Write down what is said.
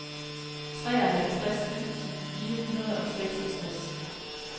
treoghalvtreds tusind fire hundrede og seksogtres